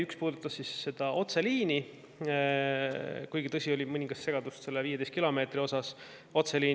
Üks puudutas otseliini, kuigi, tõsi, oli mõningast segadust selle 15 kilomeetri, otseliini.